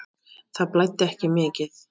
Það blæddi ekki mikið.